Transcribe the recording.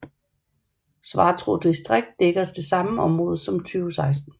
Svartrå distrikt dækker det samme område siden 2016